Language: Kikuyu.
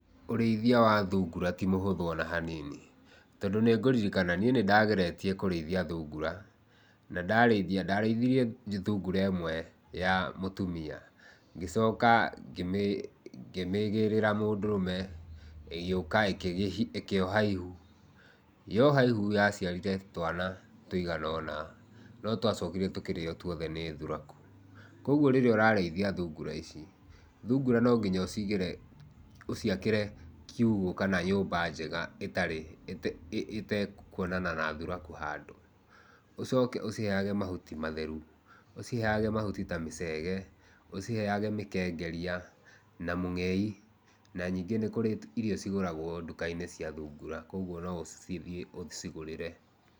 Ũrĩithia wa thungura ti mũhũthũ ona hanini, tondũ nĩngũririkana niĩ nĩndageretie kũrĩithia thungura na ndarĩithia, ndarĩithirie thungura ĩmwe ya mũtumia, ngĩcoka ngĩmĩgĩrĩra mũndũrũme ĩgĩũka ĩkĩoha ihu. Yoha ihu yaciarire twana tũigana ũna, no twacokire tũkĩrĩo tuothe nĩ thuraku. Kogwo rĩrĩa ũrarĩithia thungura ici, thungura no nginya ũcigĩre, ũciakĩre kiugũ kana nyũmba njega ĩtarĩ ĩtekuonana na thuraku handũ. Ũcoke ũciheage mahuti matheru, ũciheage mahuti ta mĩcege, ũciheage mĩkengeria na mũngei na ningĩ nĩ kũrĩ irio cigũragwo nduka-inĩ cia thungura, kogwo no ũcithiĩ ũcigũrĩre.